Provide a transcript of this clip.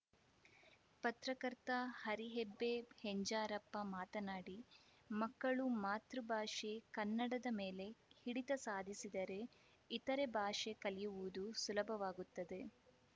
ಪತ್ರಕರ್ತ ಹರಿಹೆಬ್ಬೆ ಹೆಂಜಾರಪ್ಪ ಮಾತನಾಡಿ ಮಕ್ಕಳು ಮಾತೃಭಾಷೆ ಕನ್ನಡದ ಮೇಲೆ ಹಿಡಿತ ಸಾಧಿಸಿದರೆ ಇತರೆ ಭಾಷೆ ಕಲಿಯುವುದು ಸುಲಭವಾಗುತ್ತದೆ